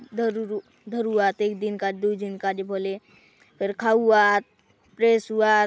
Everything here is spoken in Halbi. धरुरु धरुआत एक दिन काजे दूय दिन काजे बले फेर खाउआत फ्रेस हउआत।